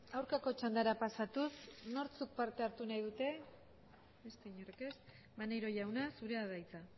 aurkako txandara pasatuz nortzuk parte hartu nahi dute beste inork ez maneiro jauna zurea da hitza